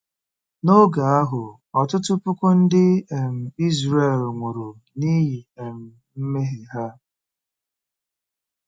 N'oge ahụ, ọtụtụ puku ndị um Izrel nwụrụ n'ihi um mmehie ha.